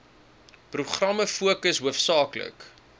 programme fokus hoofsaaklik